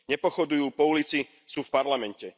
Nepochodujú po ulici, sú v parlamente.